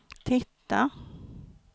titta